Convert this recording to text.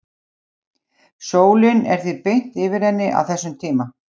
Sólin er því beint yfir henni á þessum tíma.